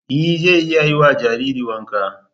E zan iya yiwa jariri wanka.